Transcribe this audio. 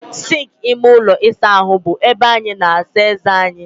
Sịnkị ime ụlọ ịsa ahụ bụ ebe anyị na-asa eze anyị.